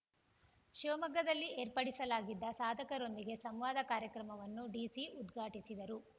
ಶಿವಮೊಗ್ಗದಲ್ಲಿ ಏರ್ಪಡಿಸಲಾಗಿದ್ದ ಸಾಧಕರೊಂದಿಗೆ ಸಂವಾದ ಕಾರ್ಯಕ್ರಮವನ್ನು ಡಿಸಿ ಉದ್ಘಾಟಿಸಿದರು